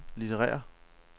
litterære